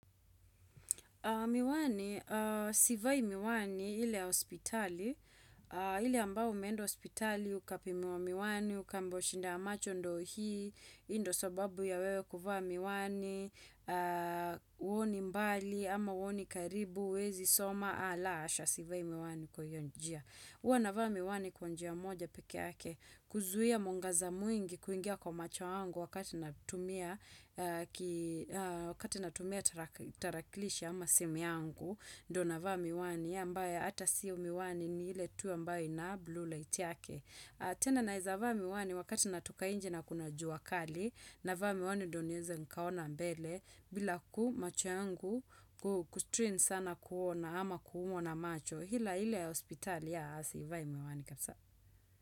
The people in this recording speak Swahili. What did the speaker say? Miwani, sivai miwani ile ya hospitali, ile ambao umeenda hospitali ukapimiwa miwani, ukaambiwa shida ya macho ndio hii, hii ndio sababu ya wewe kuvaa miwani, huoni mbali ama huoni karibu uwezi soma la hasha sivai miwani kwa hiyo njia. Huwa navaa miwani kwa njia moja peke yake kuzuhia mwangaza mwingi kuingia kwa macho yangu wakati na tumia taraklisha ama simu yangu. Ndio nava miwani hiyo ambaye hata siyo miwani ni ile tu ambayo ina blue light yake. Tena naweza vaa miwani wakati natoka nje na kuna jua kali navaa miwani ndio niweze nikaona mbele bila ku, macho yangu ku strain sana kuona ama kuumwa na macho. Ila ile ya hospitali ya a sivai miwani kabisa.